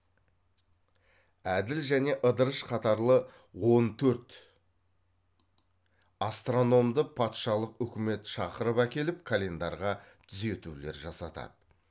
әділ және ыдырыш қатарлы он төрт астрономды патшалық үкімет шақырып әкеліп календарға түзетулер жасатады